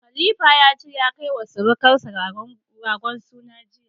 Khalifa ya ce ya kai wa sirukansa ragon sunan jiya.